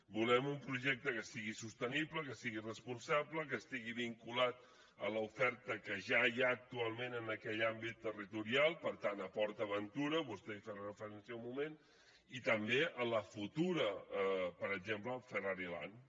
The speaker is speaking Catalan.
volem un projecte que sigui sostenible que sigui responsable que estigui vinculat a l’oferta que ja hi ha actualment en aquell àmbit territorial per tant a port aventura vostè hi feia referència un moment i també a la futura per exemple a ferrari land